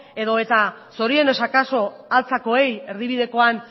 edo eta zorionez akaso altzakoei erdibidekoan